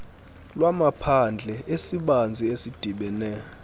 lwamaphandle esibanzi esidibene